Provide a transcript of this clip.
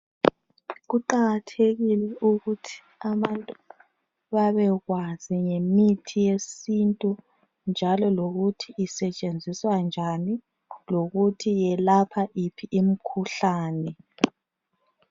Kuqakathekile ukuthi abantu babekwazi ngemithi yesintu njalo lokuthi isetshenziswa njani lokuthi yelapha yiphi imikhuhlane